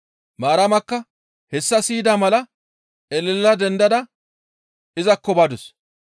Maaramakka hessa siyida mala elela dendada izakko badus.